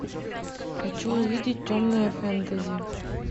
хочу увидеть в темное фэнтези